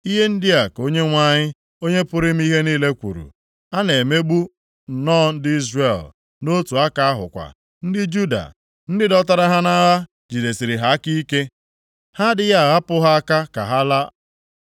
Ihe ndị a ka Onyenwe anyị, Onye pụrụ ime ihe niile kwuru: “A na-emegbu nnọọ ndị Izrel, nʼotu aka ahụkwa, ndị Juda. Ndị dọtara ha nʼagha jidesiri ha aka ike. Ha adịghị ahapụ ha ka ha laa.